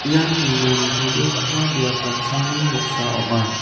ian nina nitobegipa biap damsani noksa ong·a.